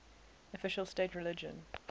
official state religion